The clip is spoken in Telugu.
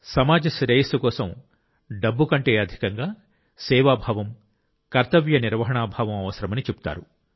సమాజ శ్రేయస్సు కోసం డబ్బు కంటే అధికంగా సేవాభావం కర్తవ్య నిర్వహణా భావం అవసరమని చెబుతారు